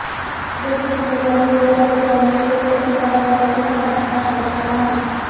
रायपूर छत्तीसगड मधील बिलासपुर येथे online sex racket चालवणाऱ्या टोळक्याचा पर्दाफाश करण्यात आला आहे